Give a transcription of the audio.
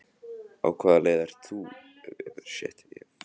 Una Sighvatsdóttir: Á hvaða leið eru þið?